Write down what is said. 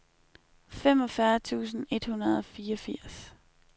femogfyrre tusind et hundrede og fireogfirs